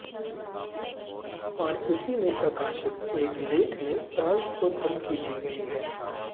और इसी में प्रकाशित एक लेख में फ्रांस को धमकी दी गई है